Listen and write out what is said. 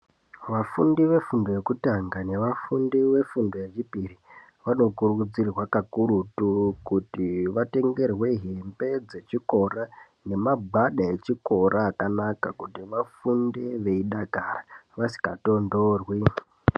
Vafundi vefundo yekutanga nevafundi vefundo yechipiri, vanokurudzirwa kakurutu, kuti vatengerwe hembe dzechikora nemagwada echikora akanaka, kuti vafunde veidakara vasingatonthorwi.